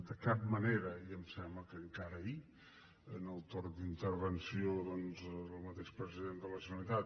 de cap manera i em sembla que encara ahir en el torn d’intervenció del mateix president de la generalitat